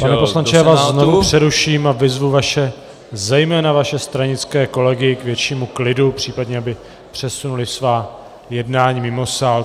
Pane poslanče, já vás znovu přeruším a vyzvu vaše - zejména vaše - stranické kolegy k většímu klidu, případně aby přesunuli svá jednání mimo sál.